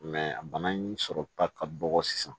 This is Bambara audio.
a bana in sɔrɔta ka dɔgɔ sisan